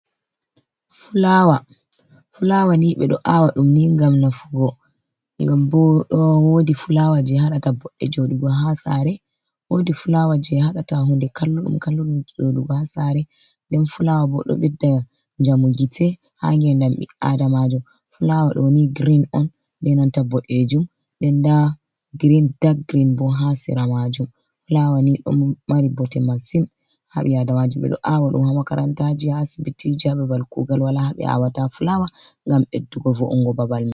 Fulaawa ,fulaawa ni, ɓe ɗo aawa ɗum ni ngam nafugo. Ngam bo woodi fulaawa jey haɗata boɗɗe joɗugo haa saare .Woodi fulaawa jey haɗata hunde kallu-ɗum kallu-ɗum joɗugo haa saare .Nden fulaawa bo ɗo ɓedda njamu gite haa ngeendam ɓi-aadamajo. Fulaawa ɗo ni girin on, be nanta boɗeejum, nden ndaa girin, dak girin bo haa sera maajum. Fulaawa ni ɗon mari bote masin haa ɓi-aadamaja. Ɓe ɗo aawa ɗum haa makarantaaji, asibitiji haa babal kuugal wala haa ɓe aawata fulaawa ngam ɓeddugo vo’ungo babal .